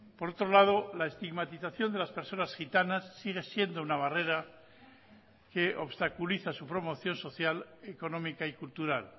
por otro lado la estigmatización de las personas gitanas sigue siendo una barrera que obstaculiza su promoción social económica y cultural